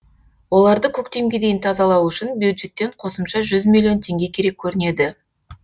оларды көктемге дейін тазалау үшін бюджеттен қосымша жүз миллион теңге керек көрінеді